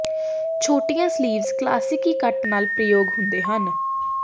ਛੋਟੀਆਂ ਸਲੀਵਜ਼ ਕਲਾਸਿਕੀ ਕਟ ਦੇ ਨਾਲ ਪ੍ਰਯੋਗ ਹੁੰਦੇ ਹਨ